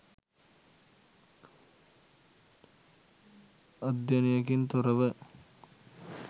අධ්‍යයනයකින් තොර ව